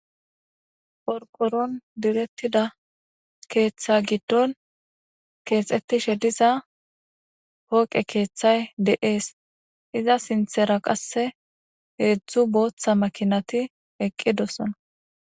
Porqoron direttida keeththa giddon keexettishe diza pooqe keeththay de'ees iza sinthera qasse heedzdzu booththa makinati eqqidosona.